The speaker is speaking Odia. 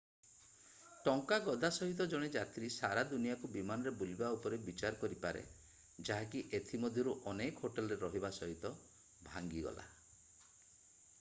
ଟଙ୍କା ଗଦା ସହିତ ଜଣେ ଯାତ୍ରୀ ସାରା ଦୁନିଆକୁ ବିମାନରେ ବୁଲିବା ଉପରେ ବିଚାର କରିପାରେ ଯାହାକି ଏଥି ମଧ୍ୟରୁ ଅନେକ ହୋଟେଲରେ ରହିବା ସହିତ ଭାଙ୍ଗିଗଲା